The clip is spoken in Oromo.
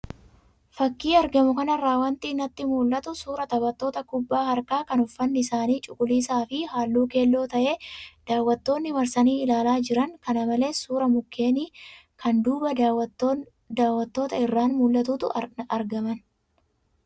Fakii argamu kanarraa wanti natti mul'atu suuraa taphattoota kubbaa harkaa kan uffanni isaanii cuquliisaa fi halluu keelloo ta'e, daawwattoonni marsanii ilaalaa jiran, kana malees suuraa mukeenii kan duuba daawwattootaa irraan mul'atutu argaman.